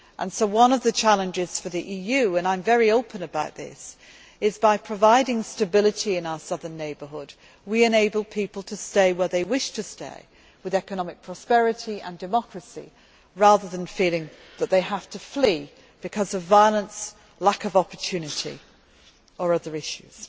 So one of the challenges for the EU and I am very open about this is that by providing stability in our southern neighbourhood, we enable people to stay where they wish to stay, with economic prosperity and democracy, rather than feeling that they have to flee because of violence, lack of opportunity or other issues.